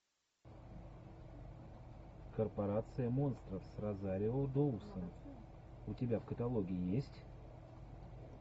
корпорация монстров с розарио доусон у тебя в каталоге есть